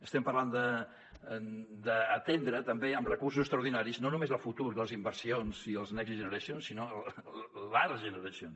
estem parlant d’atendre també amb recursos extraordinaris no només el futur de les inversions i dels next generation